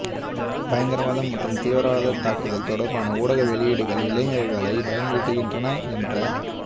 பயங்கரவாதம் மற்றும் தீவிரவாதத் தாக்குதல்கள் தொடர்பான ஊடக வெளியீடுகள் இளைஞர்களை பயமுறுத்துகின்றன என்ற